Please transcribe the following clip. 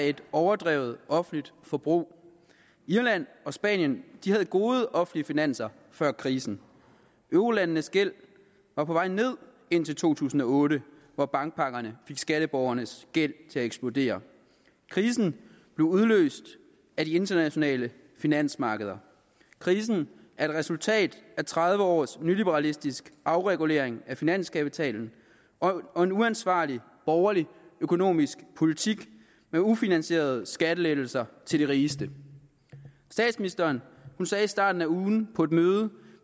et overdrevet offentligt forbrug irland og spanien havde gode offentlige finanser før krisen eurolandenes gæld var på vej ned indtil to tusind og otte hvor bankpakkerne fik skatteborgernes gæld til at eksplodere krisen blev udløst af de internationale finansmarkeder krisen er et resultat af tredive års nyliberalistisk afregulering af finanskapitalen og en uansvarlig borgerlig økonomisk politik med ufinansierede skattelettelser til de rigeste statsministeren sagde i starten af ugen på et møde